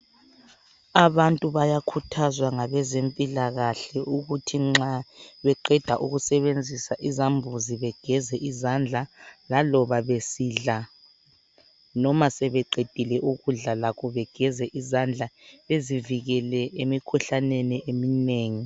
Abantu bayakhuthazwa ngabezempilakahle ukuthi nxa beqeda ukusebenzisa izambuzi begeza izandla laloba besidla, noma sebeqedile ukudla lakho begeza izandla, bezivikele emikhuhlaneni eminengi.